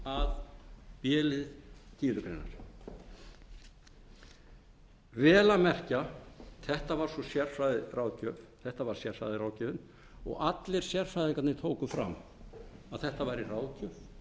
að b lið tíundu grein vel að merkja þetta var sérfræðiráðgjöfin og allir sérfræðingarnir tóku fram að þetta væri ráðgjöf